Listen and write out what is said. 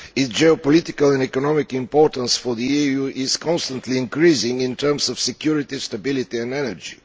Its geopolitical and economic importance for the EU is constantly increasing in terms of security, stability and energy.